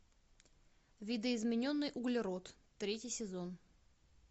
видоизмененный углерод третий сезон